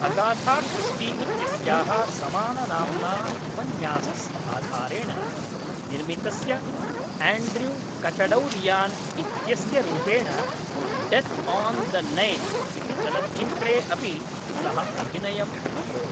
Agatha Christie इत्यस्याः समाननाम्ना उपन्यासस्य आधारेण निर्मितस्य एण्ड्रयू कचडौरियान् इत्यस्य रूपेण डेत् आन् द नैल् इति चलच्चित्रे अपि सः अभिनयम् अकरोत् ।